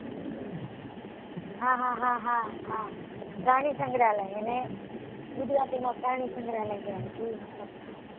હા હા હા પ્રાણી સંગ્રાલય એને ગુજરાતી માં પ્રાણી સંગ્રાલય કહેવા zoo મતલબ હા